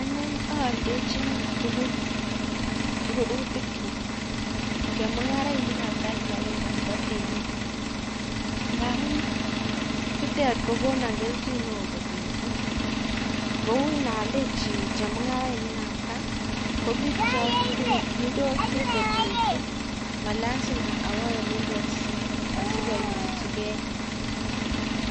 Ane aaldechini tugul rurutik kyum, chemung'arainik kab kaa ak kibagenge nebo temisiet ngamuun chutet kokonan kelchin neoo kot missing kouu inaaldechi chemung'arainik kab ko bik chekirikyindosi kot missing ako malasimaawo eleloasianyochike